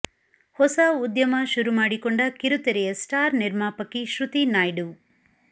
ಹೊಸ ಉದ್ಯಮ ಶುರು ಮಾಡಿಕೊಂಡ ಕಿರುತೆರೆಯ ಸ್ಟಾರ್ ನಿರ್ಮಾಪಕಿ ಶ್ರುತಿ ನಾಯ್ಡು